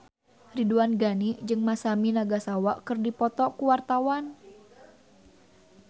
Ridwan Ghani jeung Masami Nagasawa keur dipoto ku wartawan